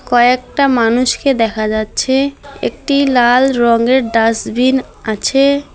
কয়েকটা মানুষকে দেখা যাচ্ছে একটি লাল রঙের ডাস্টবিন আছে।